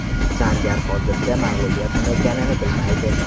Sanjar hozircha mag‘lubiyat nima ekanini bilmaydi.